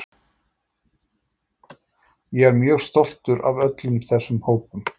Ég er mjög stoltur af öllum þessum hópum.